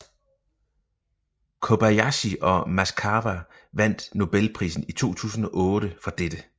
Kobayashi og Maskawa vandt nobelprisen i 2008 for dette